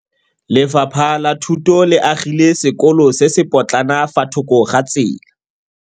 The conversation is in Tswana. Lefapha la Thuto le agile sekôlô se se pôtlana fa thoko ga tsela.